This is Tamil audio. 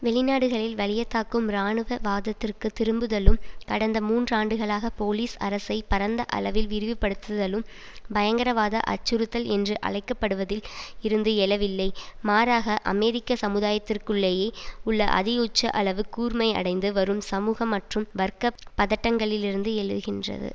வெளிநாடுகளில் வலியத்தாக்கும் இராணுவ வாதத்திற்கு திரும்புதலும் கடந்த மூன்றாண்டுகளாக போலீஸ் அரசை பரந்த அளவில் விரிவுபடுத்துலும் பயங்கரவாத அச்சுறுத்தல் என்று அழைக்க படுவதில் இருந்து எழவில்லை மாறாக அமெரிக்க சமுதாயத்திற்குள்ளேயே உள்ள அதிஉச்ச அளவு கூர்மையடைந்து வரும் சமூக மற்றும் வர்க்க பதட்டங்களிலிருந்து எழுகின்றது